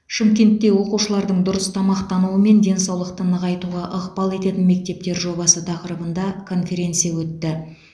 шымкентте оқушылардың дұрыс тамақтануы мен денсаулықты нығайтуға ықпал ететін мектептер жобасы тақырыбында конференция өтті